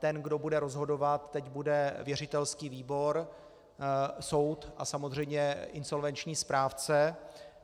Ten, kdo bude rozhodovat, teď bude věřitelský výbor, soud a samozřejmě insolvenční správce.